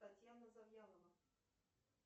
татьяна завьялова